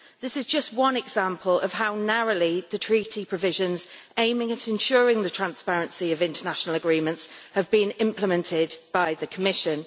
This is just one example of how narrowly the Treaty provisions aiming at ensuring the transparency of international agreements have been implemented by the Commission.